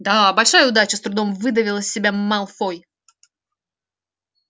да большая удача с трудом выдавил из себя малфой